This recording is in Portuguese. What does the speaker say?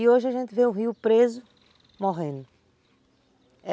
E hoje a gente vê o rio preso, morrendo.